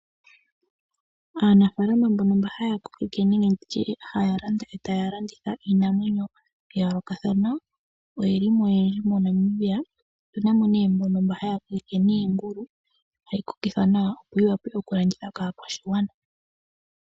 Aanafalama mbono mba haya kokeke nenge nditye mba haya landa etaya landitha iinamwenyo ya yoolokathana oyeli mo oyendji mo Namibia. Otuna nee mbono mba haya kokeke niingulu hayi kokithwa nawa opo yi wape okulandithwa kaakwashigwana